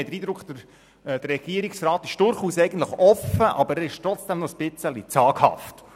Man hat den Eindruck, der Regierungsrat sei durchaus offen, aber trotzdem ein wenig zaghaft.